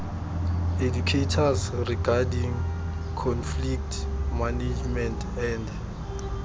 educators regarding conflict management and